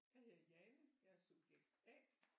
Jeg hedder Jane jeg er subjekt A